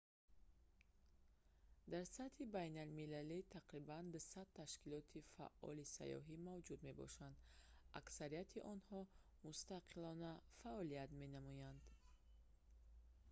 дар сатҳи байналмилалӣ тақрибан 200 ташкилоти фаъоли сайёҳӣ мавҷуд мебошанд аксарияти онҳо мустақилона фаъолият менамоянд